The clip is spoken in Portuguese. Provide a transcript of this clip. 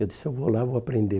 Eu disse, eu vou lá, vou aprender.